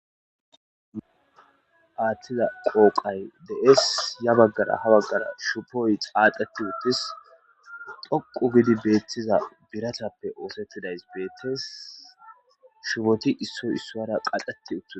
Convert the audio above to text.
Athiza qoqay de'es ya bagara ha bagara shubou xaxeti utis dhoqu gidi osetiza biratape osetizaysi betes shuboti issoy issara qaxeti utida